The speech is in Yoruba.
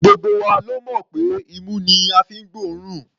Gbogbo wa la mọ̀ pé imú ni a fi ń gbóòórùn.